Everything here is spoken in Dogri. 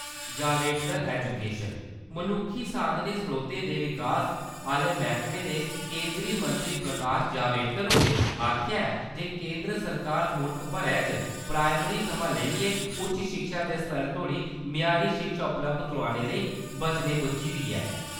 जावडेकर- एजूकेशन मनुक्खी साधनें-स्रोतें दे विकास आहले मैहकमे दे केन्द्री मंत्री प्रकाश जावडेकर होरें आखेआ ऐ जे केन्द्र सरकार मुल्ख भरै च प्राईमरी थमां लेइयै उच्च शिक्षा दे स्तर तोह्ड़ी म्यारी शिक्षा उपलब्ध करोआने लेई वचनें बज्झी दी ऐ ।